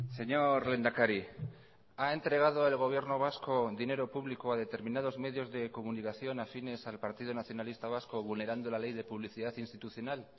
señor lehendakari ha entregado el gobierno vasco dinero público a determinados medios de comunicación afines al partido nacionalista vasco vulnerando la ley de publicidad institucional